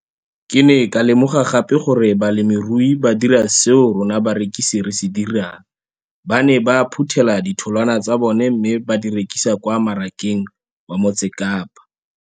Ke ne ka lemoga gape gore balemirui ba dira seo rona barekisi re se dirang, ba ne ba phuthela ditholwana tsa bona mme ba di rekisa kwa marakeng wa Motsekapa.